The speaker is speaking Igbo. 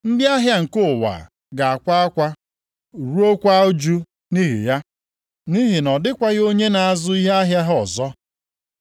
“Ndị ahịa nke ụwa ga-akwa akwa ruokwa ụjụ nʼihi ya, nʼihi na ọ dịkwaghị onye na-azụ ihe ahịa ha ọzọ.